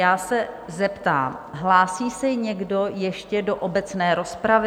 Já se zeptám, hlásí se někdo ještě do obecné rozpravy?